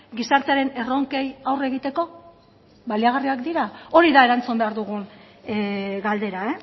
gizartearen erronkei aurre egiteko baliagarriak dira hori da erantzun behar dugun galdera